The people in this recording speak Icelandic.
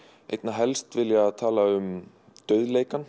helst vilja tala um